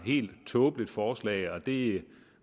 helt tåbeligt forslag og det